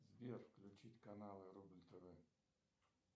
сбер включить канал рубль тв